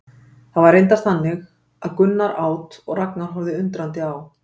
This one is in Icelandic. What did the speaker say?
Það var reyndar þannig að Gunnar át og Ragnar horfði undrandi á.